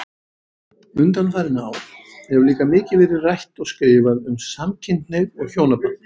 Undanfarin ár hefur líka mikið verið rætt og skrifað um samkynhneigð og hjónaband.